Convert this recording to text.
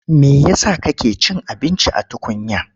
Me ya sa kake cin abinci a tukunya?